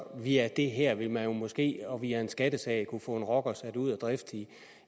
via det her vil man måske og via en skattesag kunne få en rocker sat ud af drift i